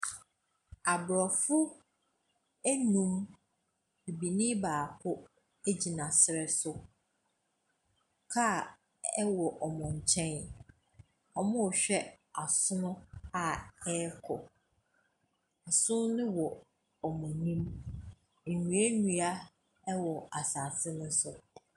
Aborɔfo nnum, benyin baako gyina serɛ so. Kaa wɔ wɔn nkyɛn. Wɔrehwɛ asono a wɔrekɔ. Asono no wɔ wɔn anim. Nnuannua wɔ asase no so.